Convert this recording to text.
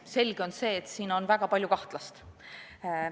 Selge on see, et siin on väga palju kahtlast.